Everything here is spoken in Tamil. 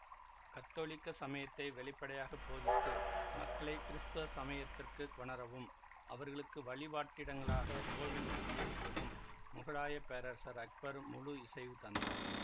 கத்தோலிக்க சமயத்தை வெளிப்படையாக போதித்து மக்களை கிறிஸ்தவ சமயத்திற்குக் கொணரவும் அவர்களுக்கு வழிபாட்டிடங்களாகக் கோவில்கள் கட்டி எழுப்பவும் முகலாயப் பேரரசர் அக்பர் முழு இசைவு தந்தார்